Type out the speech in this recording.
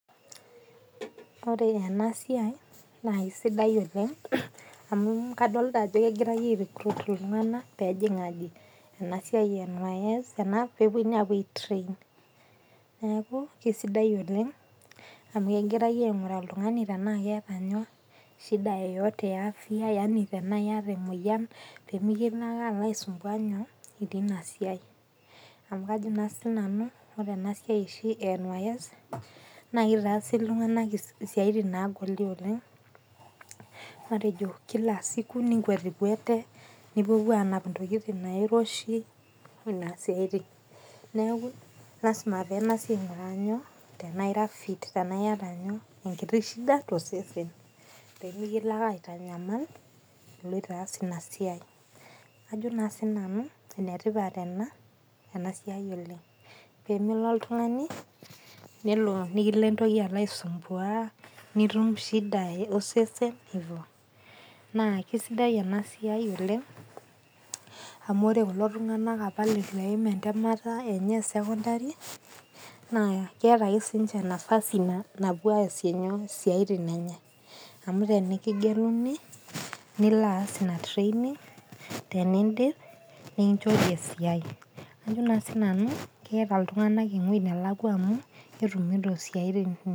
Ore enasiai, naa esiai sidai oleng, amu kadolta ajo egirai ai recruit iltung'anak pejing' aji, enasiai e NYS ena, pepoi naa apuo ai train. Neeku, kesidai oleng amu egirai aing'uraa oltung'ani tenaa keeta nyoo, shida yoyote ya afya, yani tenaa yata emoyian pemikilo ake alo aisumbua nyoo, itiii nasiai. Amu kajo naa sinanu, ore enasiai oshi e NYS, na kitaasi iltung'anak isiaitin nagoli oleng, matejo ninkuetikwete, nipuopuo anap intokiting nairoshi, nena siaitin. Neeku lasima peng'asi aing'uraa nyoo, tenaa ira fit. Tenaa yata nyoo, enkiti shida tosesen. Pemikilo ake aitanyamal, iloito aas inasiai. Ajo naa sinanu enetipat ena, enasiai oleng. Pemelo oltung'ani, nelo likilo entoki alo aisumbua, nitum shida osesen ivyo. Naa kesidai enasiai oleng, amu ore kulo tung'anak apa leitu eim entemata enye e secondary, naa keeta ake sinche nafasi napuo aasie nyoo, isiaitin enye. Amu tenikigeluni, nilo aas ina training ,tenidip nikinchori esiai. Ajo naa sinanu, eita iltung'anak ewoi nelakwa amu, ketumito siaitin.